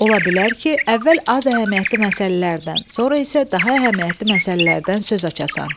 Ola bilər ki, əvvəl az əhəmiyyətli məsələlərdən, sonra isə daha əhəmiyyətli məsələlərdən söz açasan.